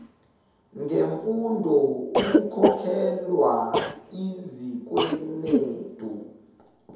ngemfundo ukukhokhelwa izikwenetu